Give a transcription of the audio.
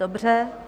Dobře.